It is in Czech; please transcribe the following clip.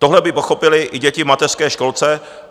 Tohle by pochopily i děti v mateřské školce.